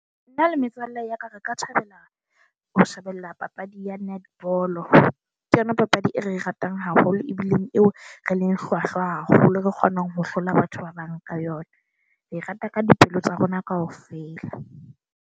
Na le metswalle ya ka, re ka thabela ho shebella papadi ya netball. Ke yona papadi e re e ratang haholo ebileng eo re leng hlwahlwa haholo, re kgonang ho hlola batho ba bang ka yona. Re rata ka dipehelo tsa rona kaofela.